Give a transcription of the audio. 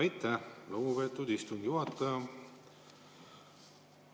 Aitäh, lugupeetud istungi juhataja!